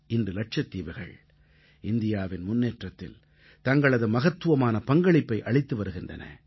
இன்று லட்சத்தீவுகள் இந்தியாவின் முன்னேற்றத்தில் தங்களது மகத்துவமான பங்களிப்பை அளித்து வருகின்றன